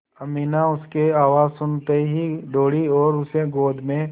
अमीना उसकी आवाज़ सुनते ही दौड़ी और उसे गोद में